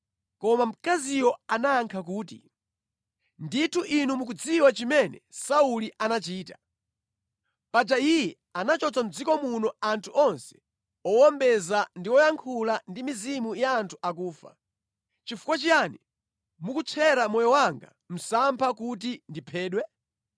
Koma mkaziyo anayankha kuti, “Ndithu inu mukudziwa chimene Sauli anachita. Paja iye anachotsa mʼdziko muno anthu onse owombeza ndi woyankhula ndi mizimu ya anthu akufa. Chifukwa chiyani mukutchera moyo wanga msampha kuti ndiphedwe?”